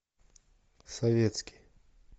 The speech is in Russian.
советский